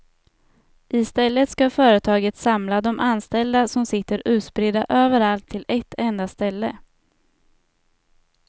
I stället ska företaget samla de anställda som sitter utspridda överallt till ett enda ställe.